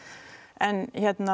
en